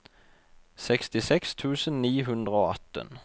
sekstiseks tusen ni hundre og atten